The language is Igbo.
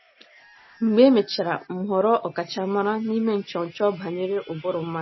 Mgbe e mechara, m ghọrọ ọkachamara n’ime nchọnchọ banyere ụbụrụ mmadụ.